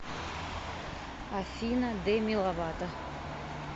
афина деми ловато